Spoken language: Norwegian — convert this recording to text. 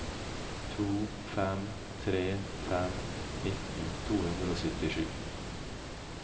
to fem tre fem nitten to hundre og syttisju